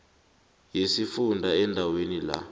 yesifunda endaweni la